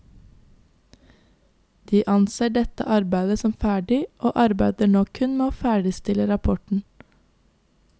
De anser dette arbeidet som ferdig og arbeider nå kun med å ferdigstille rapporten.